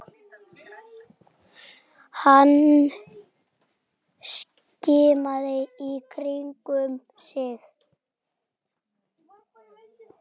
Hann skimaði í kringum sig.